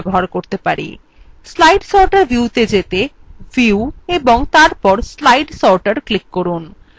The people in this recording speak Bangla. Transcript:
slide sorter view ত়ে যেতে view এবং তারপর slide sorter ক্লিক করুন